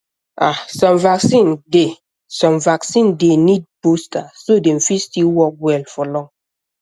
ah some vaccine dey some vaccine dey need booster so dem fit still work well for long